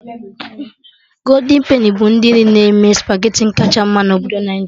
Goldin peni bụ ndị nri na-eme spageti akacha ma na obodo Naijiria